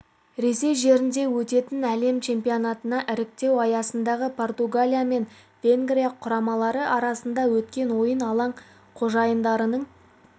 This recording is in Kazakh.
ресей жерінде өтетін әлем чемпионатына іріктеу аясындағы португалия мен венгрия құрамалары арасында өткен ойын алаң қожайындарының